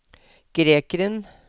grekeren